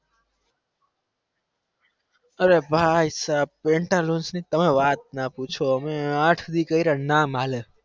અરે ભાઈસાહબ pantaloons ની તમે વાત ના પૂછો અમે નામ હાલે